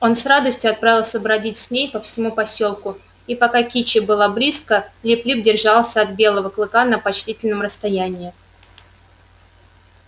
он с радостью отправился бродить с ней по всему посёлку и пока кичи была близко лип лип держался от белого клыка на почтительном расстоянии